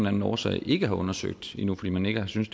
anden årsag ikke har undersøgt endnu fordi man ikke har synes